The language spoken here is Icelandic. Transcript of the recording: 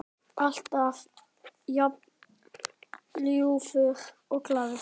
Alltaf jafn ljúfur og glaður.